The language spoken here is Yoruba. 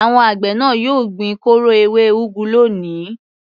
Àwọn àgbẹ̀ náà yóò gbin kóró ewé úgú lónìí.